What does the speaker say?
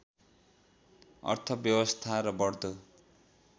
अर्थव्यवस्था र बढ्दो